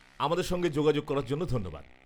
আমাদের সঙ্গে যোগাযোগ করার জন্য ধন্যবাদ।